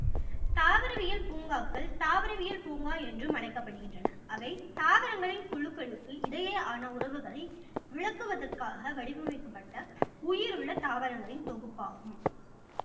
தாவரவியல் பூங்காக்கள் தாவரவியல் பூங்கா என்றும் அழைக்கப்படுகின்றன அவை தாவரங்களின் குழுக்களுக்கு இடையேயான உறவுகளை விளக்குவதற்காக வடிவமைக்கப்பட்ட உயிருள்ள தாவரங்களின் தொகுப்பாகும்